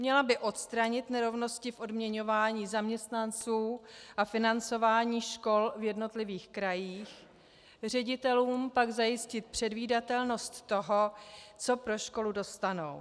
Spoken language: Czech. Měla by odstranit nerovnosti v odměňování zaměstnanců a financování škol v jednotlivých krajích, ředitelům pak zajistit předvídatelnost toho, co pro školu dostanou.